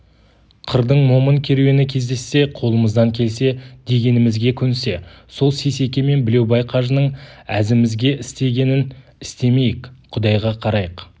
қырдың момын керуені кездессе қолымыздан келсе дегенімізге көнсе сол сейсеке мен білеубай қажының әзімізге істегенін істемейік құдайға қарайық